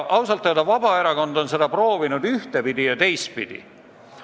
Ausalt öelda on Vabaerakond sellesse proovinud ühtepidi ja teistpidi suhtuda.